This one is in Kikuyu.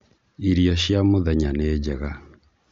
irio cia mũthenya nĩ njega